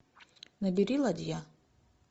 набери ладья